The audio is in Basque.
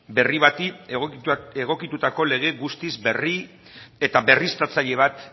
berri bati egokitutako lege guztiz berri eta berriztatzaile bat